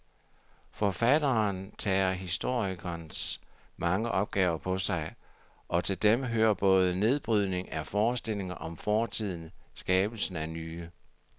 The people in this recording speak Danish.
Forfatteren tager historikerens mange opgaver på sig, og til dem hører både nedbrydningen af forestillinger om fortiden skabelsen af nye.